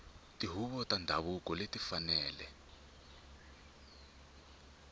tihuvo ta ndhavuko ti fanele